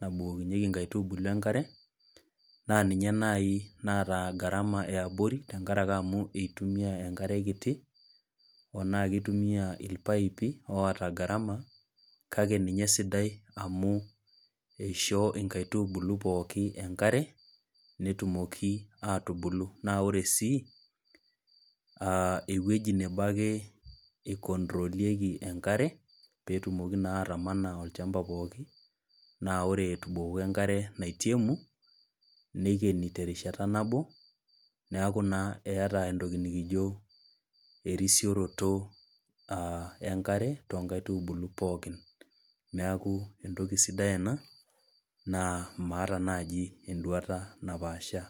nabukokinyeki nkaitubulu enkare, naa ninye nai naata gharama eabori, tenkaraki amu itumia enkare kiti,o naa kitumia irpaipi oota gharama, kake ninye esidai amu eishoo inkaitubulu pookin enkare, netumoki atubulu. Na ore si, ewueji nebo ake ikontrolieki enkare, petumoki naa atamana olchamba pookin. Na ore etubukoki enkare naitemu, neikeni terishata nabo, neeku naa eeta entoki nikijo erisioroto ah enkare, tonkaitubulu pookin. Neeku entoki sidai ena, naa maata naji eduata napaashaa.